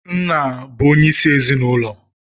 Nna bụ onyeisi ezinụlọ